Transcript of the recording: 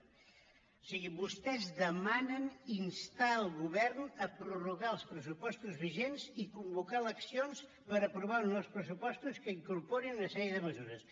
o sigui vostès demanen instar el govern a prorrogar els pressupostos vigents i convocar eleccions per aprovar uns nous pressupostos que incorporin una sèrie de mesures